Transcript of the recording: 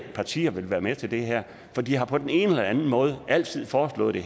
partier vil være med til det her for de har på den ene eller anden måde altid foreslået det